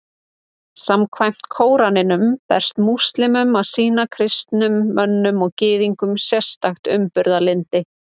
Samkvæmt Kóraninum ber múslímum að sýna kristnum mönnum og Gyðingum sérstakt umburðarlyndi.